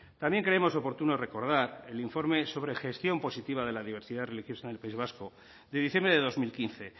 también creemos oportuno recordar el informe sobre gestión positiva de la diversidad religiosa en el país vasco de diciembre de dos mil quince